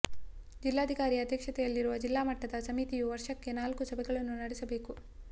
ಜಿಲ್ಲಾಧಿಕಾರಿ ಅಧ್ಯಕ್ಷತೆಯಲ್ಲಿರುವ ಜಿಲ್ಲಾ ಮಟ್ಟದ ಸಮಿತಿಯು ವರ್ಷಕ್ಕೆ ನಾಲ್ಕು ಸಭೆಗಳನ್ನು ನಡೆಸಬೇಕು